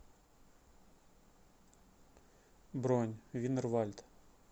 бронь винер вальд